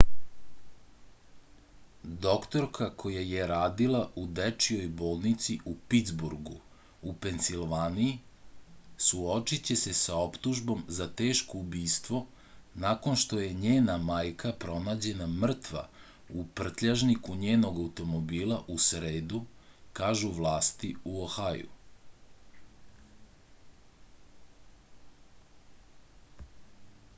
doktorka koja je radila u dečijoj bolnici u pitsburgu u pensilvaniji suočiće se sa optužbom za teško ubistvo nakon što je njena majka pronađena mrtva u prtljažniku njenog automobila u sredu kažu vlasti u ohaju